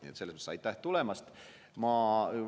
Nii et selles mõttes aitäh tulemast!